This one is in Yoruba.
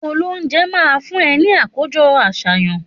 Òlóunjé má fun é ní àkójõ àsáyan